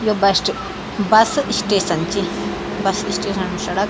यो बश्ट bus station चि bus station म सड़क --